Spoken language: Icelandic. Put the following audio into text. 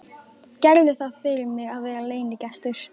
Gerðu það fyrir mig að vera leynigestur.